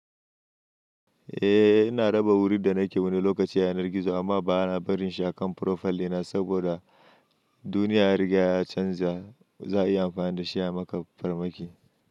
Eh ina raba wuri da nake wani lokaci a yanar gizo amma ba na barin shi a kan profile dina saboda duniya ya riga ya canza. Za a iya amfani dashi a maka farmaki.